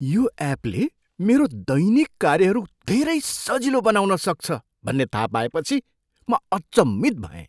यो एपले मेरो दैनिक कार्यहरू धेरै सजिलो बनाउन सक्छ भन्ने थाह पाएपछि म अचम्मित भएँ।